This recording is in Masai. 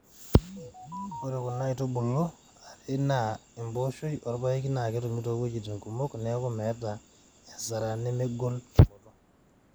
Ore kuna aitubulu are aa empooshoi orpaeki naa ketumi too wuejiti kumok neeku meeta asara nemegol tumoto.